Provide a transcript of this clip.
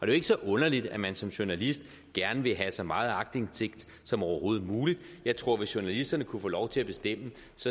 jo ikke så underligt at man som journalist gerne vil have så meget aktindsigt som overhovedet muligt jeg tror at hvis journalisterne kunne få lov til at bestemme